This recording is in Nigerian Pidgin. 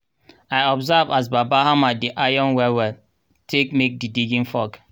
i observe as baba hammer di iron well well take make di digging fork.